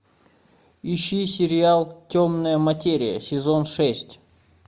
ищи сериал темная материя сезон шесть